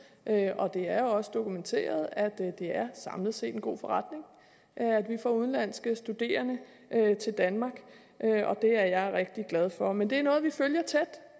og det er jo også dokumenteret er det samlet set en god forretning at vi får udenlandske studerende til danmark det er jeg rigtig glad for men det er noget vi følger tæt